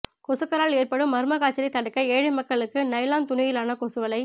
கொசுக்களால் ஏற்படும் மர்ம காய்ச்சலை தடுக்க ஏழை மக்களுக்கு நைலான் துணியிலான கொசுவலை